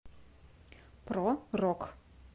про рок